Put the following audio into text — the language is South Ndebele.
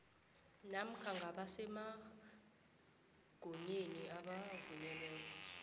namkha ngabasemagunyeni abavunyelweko